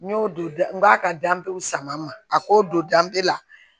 N y'o don da n b'a ka danbew sama ma a k'o don danbe la